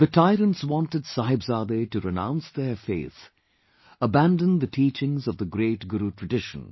The tyrants wanted Sahibzade to renounce their faith; abandon the teachings of the great Guru tradition